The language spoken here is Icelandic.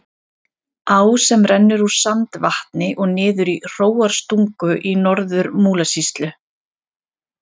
Á sem rennur úr Sandvatni og niður í Hróarstungu í Norður-Múlasýslu.